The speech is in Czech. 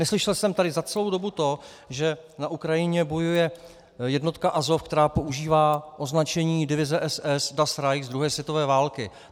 Neslyšel jsem tady za celou dobu to, že na Ukrajině bojuje jednotka Azov, která používá označení divize SS Das Reich z druhé světové války.